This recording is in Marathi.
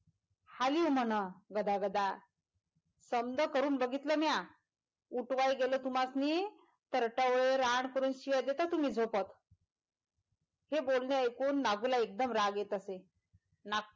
हालिव म्हण गदागदा समदं करून बघितलं म्या उठवाय गेलं तुम्हास्नी तर टवळ रान करून शिव्या देताय तूमी झोपेत हे बोलणं ऐकून नागुला एगदम राग येत असे